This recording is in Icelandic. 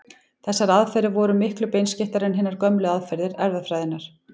Þessar aðferðir voru miklu beinskeyttari en hinar gömlu aðferðir erfðafræðinnar.